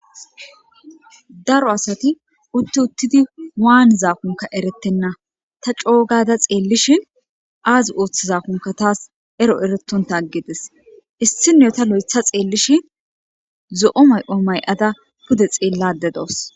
daro asati utti uttidi waanizaakonka erettenna ta coogada xeellishi aazi ooththizaakunka taas ero eretonta aggides issinota lo7etha xeellishi zo7o may7o may7ada pude xeellade doos